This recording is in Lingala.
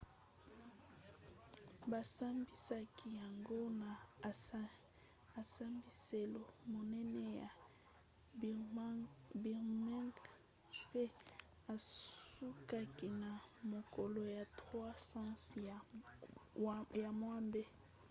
basambisaki yango na esambiselo monene ya birmingham pe esukaki na mokolo ya 3 sanza ya mwambe